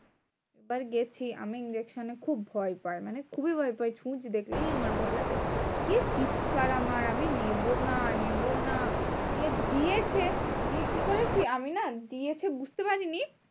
এবার গেছি আমি injection এ খুব ভয় পাই। মানে খুবই ভয় পাই সুচ দেখলেই আমার ভয় লাগে। কি চিৎকার আমার? আমি নেবোনা নেবোনা যে দিয়েছে দিয়ে কি করেছি আমি না? দিয়েছে বুঝতে পারিনি।